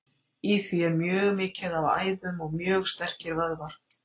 Í því er mjög mikið af æðum og mjög sterkir vöðvar.